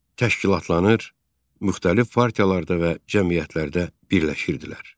təşkilatlanır, müxtəlif partiyalar da və cəmiyyətlərdə birləşirdilər.